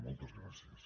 moltes gràcies